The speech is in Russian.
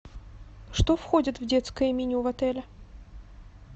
что входит в детское меню в отеле